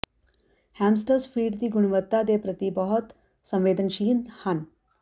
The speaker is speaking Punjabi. ਹੈਮਸਟਸ ਫੀਡ ਦੀ ਗੁਣਵੱਤਾ ਦੇ ਪ੍ਰਤੀ ਬਹੁਤ ਸੰਵੇਦਨਸ਼ੀਲ ਹਨ